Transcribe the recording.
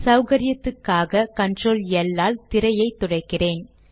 சௌகரியத்துக்காக control L ஆல் திரையை துடைக்கிறேன்